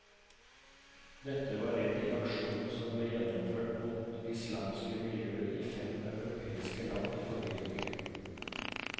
Dette var ledd i aksjonen som ble gjennomført mot islamske miljøer i fem europeiske land i forrige uke.